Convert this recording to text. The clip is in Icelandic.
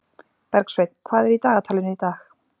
Bergsveinn, hvað er í dagatalinu í dag?